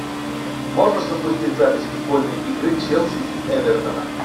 можешь запустить запись футбольной игры челси и эвертона